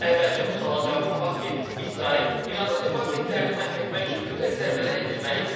Əvvəlcə bu suala cavab tapaq ki, İsrail İranın nüvə obyektlərini məhv etmək üçün mütləq zərbələr endirməli idimi?